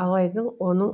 алайдың оның